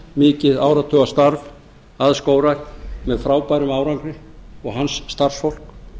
eða langt og mikið áratugastarf að skógrækt með frábærum árangri og hans starfsfólk